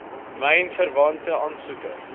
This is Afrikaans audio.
myn verwante aansoeke